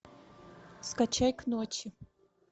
скачай к ночи